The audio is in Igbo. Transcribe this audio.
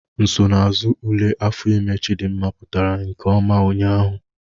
Nsonaazụ ule afọ ime Chidimma pụtara nke ọma ụnyahụ